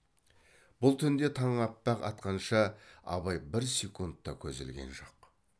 бұл түнде таң аппақ атқанша абай бір секунд та көз ілген жоқ